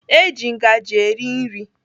Eji ngaji eri nri.